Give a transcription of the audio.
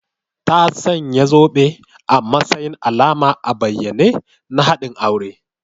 Ta sanya zobe a matsayin alama a bayyane na haɗin aure